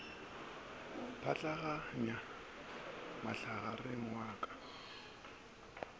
pšhatlaganya mohlagare wa ka ka